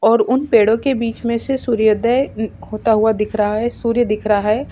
और उन पेड़ों के बिच में से सूर्योदय होता हुआ दिखा रहा है सूर्य दिखा रहा है।